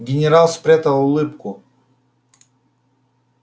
генерал спрятал улыбку